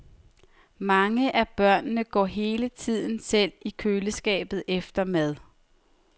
Mange af børnene går hele tiden selv i køleskabet efter mad.